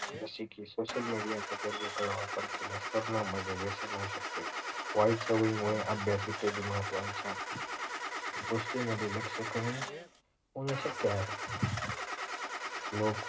जसे की social media चा गरजे काळास वापर केले असतं हे व्यसन होऊ शकते वाईट सवयी मुळे अभ्यास इत्यादि महत्वाच्या गोस्टींमध्ये लक्ष कमी होणे शक्य आहे लोक